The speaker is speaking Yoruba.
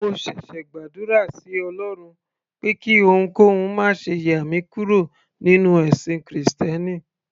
mo ṣẹ̀ṣẹ̀ gbàdúrà sí ọlọrun pé kí ohunkóhun máṣe yà mí kúrò nínú ẹ̀sìn krìstẹ́nì